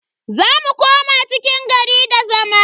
Za mu koma cikin gari da zama.